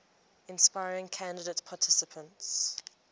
inspiring candidate participants